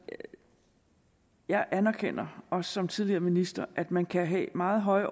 men jeg anerkender også som tidligere minister at man kan have meget høje